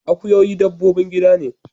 Akuyoyi dabbobin gida ne.